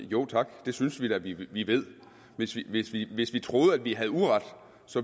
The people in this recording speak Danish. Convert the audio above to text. jo tak det synes vi da vi vi ved hvis vi hvis vi troede at vi havde uret